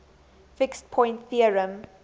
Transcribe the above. fixed point theorem